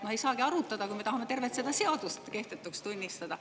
No me ei saagi ju arutada, kui me tahame tervet seda seadust kehtetuks tunnistada.